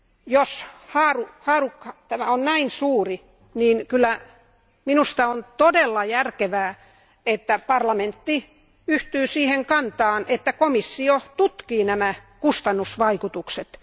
Jos haarukka on näin suuri, niin minusta on todella järkevää, että parlamentti yhtyy siihen kantaan, että komissio tutkii nämä kustannusvaikutukset.